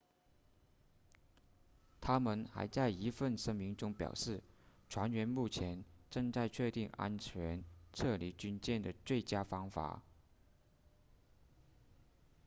他们还在一份声明中表示船员目前正在确定安全撤离军舰的最佳方法